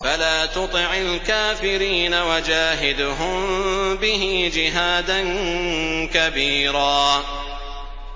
فَلَا تُطِعِ الْكَافِرِينَ وَجَاهِدْهُم بِهِ جِهَادًا كَبِيرًا